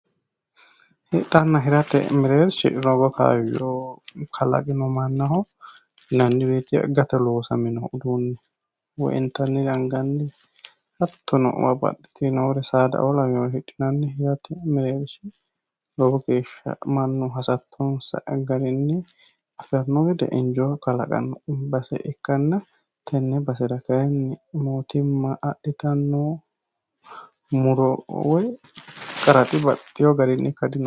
Hidhanna hirate mereershi lowo kaayo kalaqino mannaho yinanni woyete gate loosamino uduune woyi intannire angannire hattono babaxitinore saadao lawinore hidhinanni hirate mereersha Lowo geesha Manu hasatonsa garinni afirano gede injoo kalaqano base ikanna tenne basera kayinni mootimma adhitano muro woy qaraxi baxeo garaha ika dinosi.